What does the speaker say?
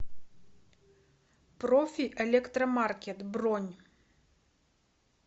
профи электромаркет бронь